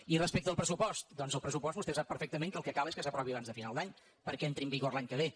i respecte al pressupost doncs el pressupost vostè sap perfectament que el que cal és que s’aprovi abans de final d’any perquè entri en vigor l’any que ve